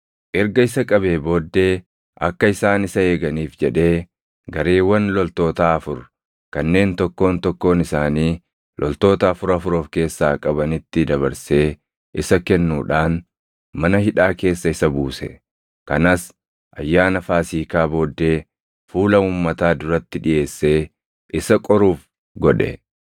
Erga isa qabee booddee akka isaan isa eeganiif jedhee gareewwan loltootaa afur kanneen tokkoon tokkoon isaanii loltoota afur afur of keessaa qabanitti dabarsee isa kennuudhaan, mana hidhaa keessa isa buuse; kanas ayyaana Faasiikaa booddee fuula uummataa duratti dhiʼeessee isa qoruuf godhe.